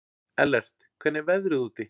Ellert, hvernig er veðrið úti?